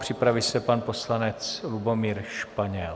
Připraví se pan poslanec Lubomír Španěl.